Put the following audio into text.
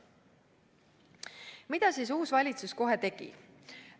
Mida siis uus valitsus kohe tegi?